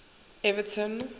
everton